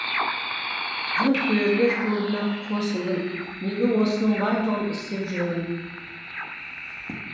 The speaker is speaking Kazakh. жанкүйерлер клубына қосылдым неге осының барлығын істеп жүрмін